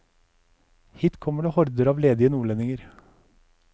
Hit kommer horder av ledige nordlendinger.